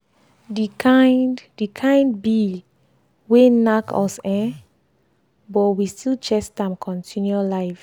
the kind the kind bill wey nack us ehhn but we still chest am continue life.